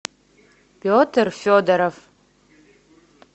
петр федоров